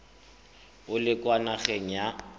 o le kwa nageng ya